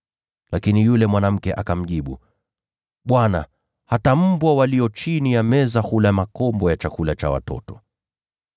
Lakini yule mwanamke akamjibu, “Bwana, hata mbwa walio chini ya meza hula makombo ya chakula cha watoto.”